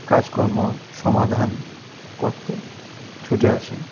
কাজকর্মর সমাধান করতে ছুটে আসেন.